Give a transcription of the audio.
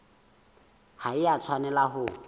ha e a tshwanela ho